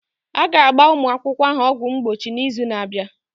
A ga-agba ụmụ akwụkwọ ahụ ọgwụ mgbochi n'izu na-abịa.